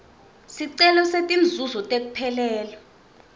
sicelo setinzuzo tekuphelelwa